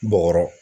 Bɔgɔ